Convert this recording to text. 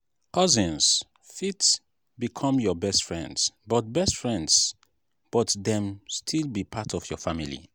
cousins fit become your best friends but best friends but dem still be part of your family.